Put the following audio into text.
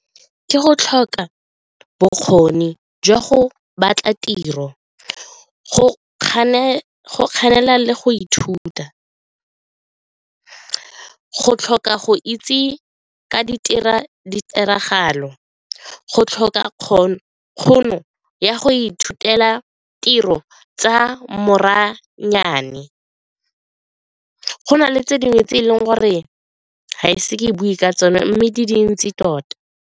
Ke go tlhoka bokgoni jwa go batla tiro, go le go ithuta, go tlhoka go itse ka ditiragalo, go tlhoka tšhono ya go ithutela tiro tsa maranyane go na le tse dingwe tse e leng gore ga ise ke bue ka tsone mme di dintsi tota.